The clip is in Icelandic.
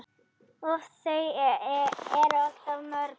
Úff, þau eru alltof mörg.